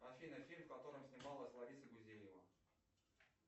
афина фильм в котором снималась лариса гузеева